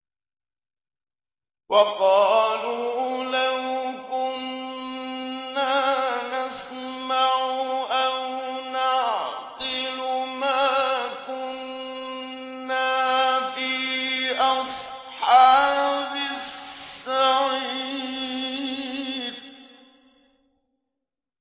وَقَالُوا لَوْ كُنَّا نَسْمَعُ أَوْ نَعْقِلُ مَا كُنَّا فِي أَصْحَابِ السَّعِيرِ